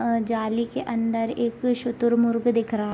अ जाली के अंदर एक शुतुरमुर्ग दिख रहा है।